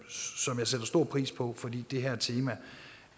som jeg sætter stor pris på for det her tema